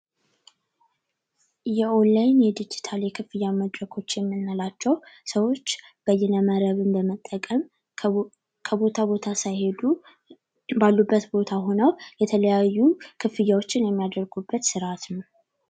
የኦላይን የድጅታል የመክፈያ መንገድ የምንላቸው ሰዎች በይነመረብ በመጠቀም ከቦታ ቦታ ሳይሄዱ ባሉበት ቦታ ሁነው የለተያዩ ክፍያዎችን የሚያደርጉበት ስርዓት ነው።